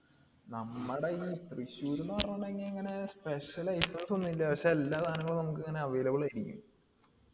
നമ്മടെ ഈ തൃശ്ശൂര് ന്ന് പറയണ special items ഒന്നുല്ല പക്ഷെ എല്ലാ സാധനങ്ങളും നമുക്കിങ്ങനെ available ആയിരിക്കും